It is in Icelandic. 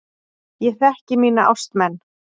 Ég þekki mína ástmenn.